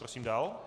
Prosím dál.